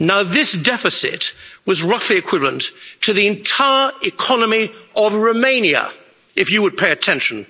This deficit was roughly equivalent to the entire economy of Romania, if you would pay attention.